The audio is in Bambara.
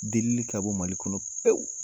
Delili ka bɔ MALI kɔnɔ pewu!